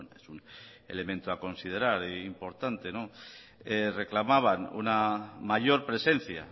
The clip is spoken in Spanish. es un elemento a considerar importante reclamaban una mayor presencia